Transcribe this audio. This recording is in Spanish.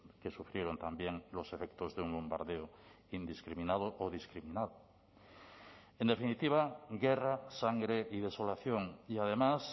que sufrieron también los efectos de un bombardeo indiscriminado o discriminado en definitiva guerra sangre y desolación y además